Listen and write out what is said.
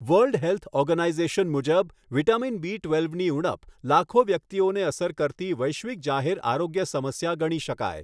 World health organization મુજબ, vitamin B ટ્વેલ્વની ઊણપ લાખો વ્યક્તિઓને અસર કરતી વૈશ્વિક જાહેર આરોગ્ય સમસ્યા ગણી શકાય.